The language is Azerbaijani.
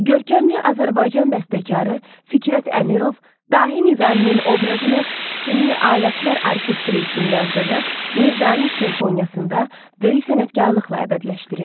Görkəmli Azərbaycan bəstəkarı Fikrət Əmirov, dahi Nizaminin obrazını simli alətlər orkestri üçün yazdığı Nizami simfoniyasında böyük sənətkarlıqla əbədiləşdirib.